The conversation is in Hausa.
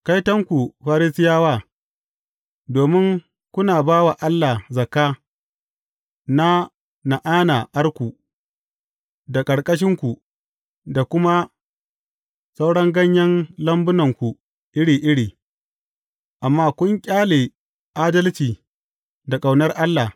Kaitonku, Farisiyawa, domin kuna ba wa Allah zakka na na’ana’arku, da ƙarƙashinku, da kuma sauran ganyen lambunku iri iri, amma kun ƙyale adalci da ƙaunar Allah.